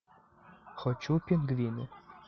хочу пингвины